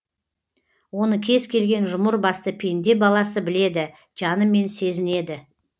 оны кез келген жұмыр басты пенде баласы біледі жанымен сезінеді